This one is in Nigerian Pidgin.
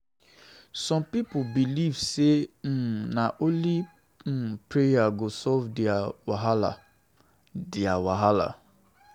Some pipo dey believe say um na only um prayer go solve their wahala. their wahala.